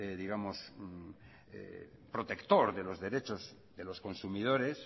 protector de los derechos de los consumidores